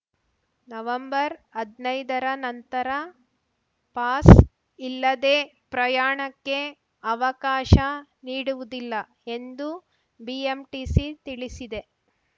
ನವಂಬರ್ಹದ್ನೈದರ ನಂತರ ಪಾಸ್‌ ಇಲ್ಲದೆ ಪ್ರಯಾಣಕ್ಕೆ ಅವಕಾಶ ನೀಡುವುದಿಲ್ಲ ಎಂದು ಬಿಎಂಟಿಸಿ ತಿಳಿಸಿದೆ